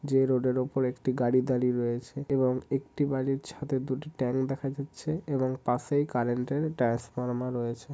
যেই রোডের উপরে একটি গাড়ি দাঁড়িয়ে রয়েছে এবং একটি বাড়ির ছাদের দুটি ট্যাংক দেখা যাচ্ছে এবং পাশেই কারেন্টের ট্রান্সফরমা রয়েছে।